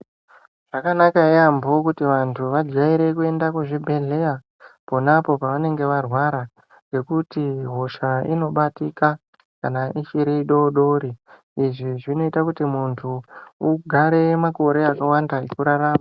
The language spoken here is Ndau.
Zvakanaka yaambo kuti vantu vajaire kuenda kuzvibhedhleya ponapo pavanenge varwara. Ngekuti hosha inobatika kana ichiri idodori, izvi zvinoita kuti muntu ugare makore akawanda ekurarama.